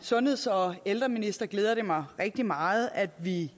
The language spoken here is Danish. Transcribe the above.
sundheds og ældreminister glæder det mig rigtig meget at vi